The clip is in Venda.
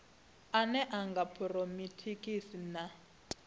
ane a nga buronikhitisi na